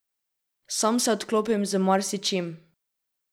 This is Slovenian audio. Sam se odklopim z marsičim.